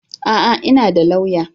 A'a! Ina da lauya